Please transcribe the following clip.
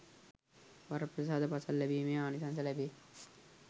වරප්‍රසාද පසක් ලැබීමේ ආනිසංස ලැබේ